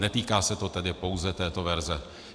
Netýká se to tedy pouze této verze.